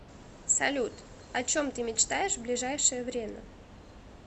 салют о чем ты мечтаешь в ближайшее время